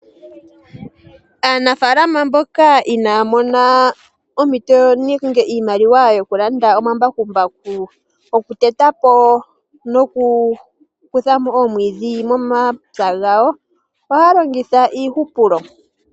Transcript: Aanafalama mbyoka inaya mona ompito nenge iimaliwa yokulanda omambakumbaku. Okuteta po nokukuthapo oomwiidhi momapya gawo. Oha longitha iihupulo.